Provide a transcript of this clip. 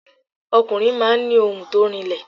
Ọkùnrin máa ń ni ohùn to rinlẹ̀